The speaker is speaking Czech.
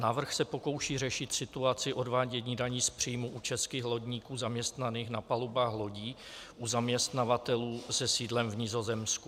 Návrh se pokouší řešit situaci odvádění daní z příjmů u českých lodníků zaměstnaných na palubách lodí u zaměstnavatelů se sídlem v Nizozemsku.